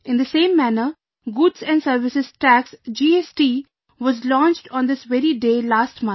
In the same manner, Goods and Services Tax, GST, was launched on this very day last month